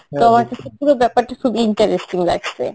তো আমার কাছে পুরো ব্যাপারটা খুব ineresting লাগছে